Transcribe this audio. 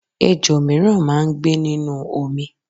Ejò mìíràn máá ń gbé nínú omi